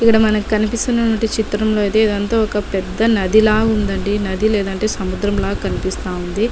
ఇక్కడ మనకి కనిపిస్తున్నటువంటి చిత్రం లో అయితే ఇదంతా ఒక పెద్ద నది లా ఉందండి నది లేదంటే సముద్రం లా కనిపిస్తా ఉంది.